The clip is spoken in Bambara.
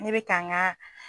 Ne bɛ ka n ga